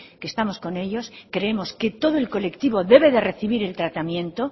que estamos con ellos creemos que todo el colectivo debe de recibir el tratamiento